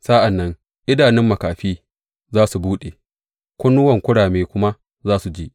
Sa’an nan idanun makafi za su buɗe kunnuwan kurame kuma su ji.